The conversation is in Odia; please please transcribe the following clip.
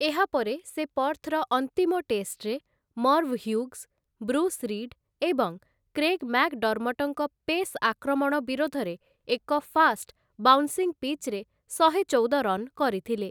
ଏହାପରେ ସେ ପର୍ଥ୍‌ର ଅନ୍ତିମ ଟେଷ୍ଟ୍‌ରେ ମର୍ଭ୍‌ ହ୍ୟୁଗ୍‌ସ୍, ବ୍ରୁସ୍‌ ରିଡ୍‌ ଏବଂ କ୍ରେଗ୍‌ ମ୍ୟାକଡର୍ମଟ୍‌ଙ୍କ ପେସ୍ ଆକ୍ରମଣ ବିରୋଧରେ ଏକ ଫାଷ୍ଟ୍‌ ବାଉନ୍ସିଂ ପିଚ୍‌ରେ ଶହେ ଚଉଦ ରନ୍ କରିଥିଲେ ।